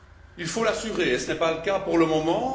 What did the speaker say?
Il faut l'assurer et ce n'est pas le cas pour le moment.